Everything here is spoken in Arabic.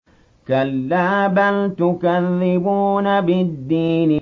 كَلَّا بَلْ تُكَذِّبُونَ بِالدِّينِ